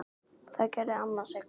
Það gerði amma Sigga.